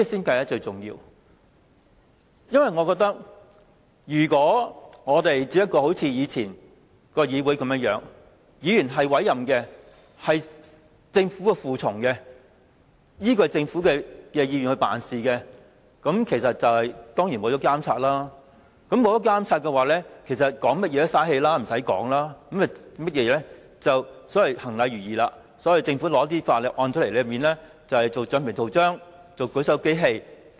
我認為，如果我們只像以往的議會般，議員只是政府委任的隨從，依賴政府意願辦事，當然會失去監察作用，那麼談甚麼也是浪費氣力，無須再說的，只須行禮如儀，當政府提交法案後，大家當橡皮圖章和舉手機器便行了。